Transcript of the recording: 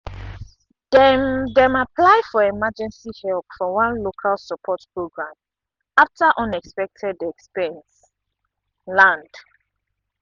dem dem apply for emergency help from one local support program after unexpected expense land.